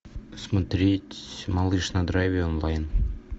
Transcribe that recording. смотреть малыш на драйве онлайн